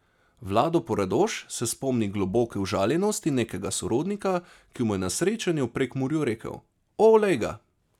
Vlado Poredoš se spomni globoke užaljenosti nekega sorodnika, ki mu je na srečanju v Prekmurju rekel: 'O, lejga!